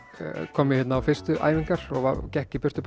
kom ég hérna á fyrstu æfingar og gekk í burtu